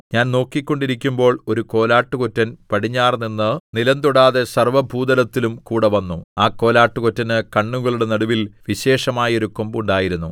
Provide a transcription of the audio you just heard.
ഞാൻ നോക്കിക്കൊണ്ടിരിക്കുമ്പോൾ ഒരു കോലാട്ടുകൊറ്റൻ പടിഞ്ഞാറുനിന്ന് നിലം തൊടാതെ സർവ്വഭൂതലത്തിലും കൂടെ വന്നു ആ കോലാട്ടുകൊറ്റന് കണ്ണുകളുടെ നടുവിൽ വിശേഷമായൊരു കൊമ്പുണ്ടായിരുന്നു